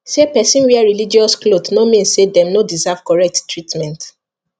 say person wear religious cloth no mean say dem no deserve correct treatment